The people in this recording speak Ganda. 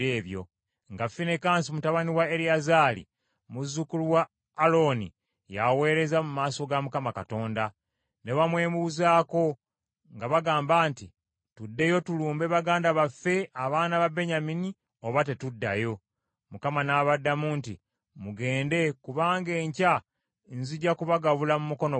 nga Finekaasi mutabani wa Eriyazaali, muzzukulu wa Alooni yaweereza mu maaso ga Mukama Katonda. Ne bamwebuuzaako nga bagamba nti, “Tuddeyo tulumbe baganda baffe abaana ba Benyamini oba tetuddayo?” Mukama n’abaddamu nti, “Mugende kubanga enkya nzija kubagabula mu mukono gwammwe.”